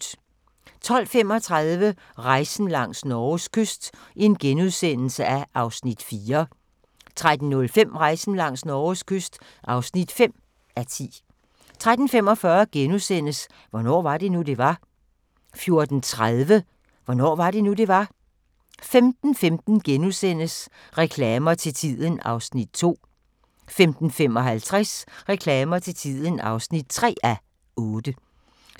12:25: Rejsen langs Norges kyst (4:10)* 13:05: Rejsen langs Norges kyst (5:10) 13:45: Hvornår var det nu, det var? * 14:30: Hvornår var det nu, det var? 15:15: Reklamer til tiden (2:8)* 15:55: Reklamer til tiden (3:8)